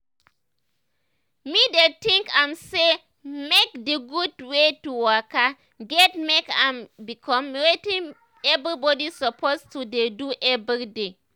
me dey tink am say make d gud wey to waka get make im become wetin everybody suppose to dey do everydaty.